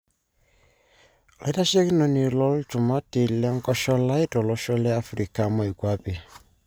Olaitashekinoni lolchumati lenkosholai tolosho le Africa moikwape Bw.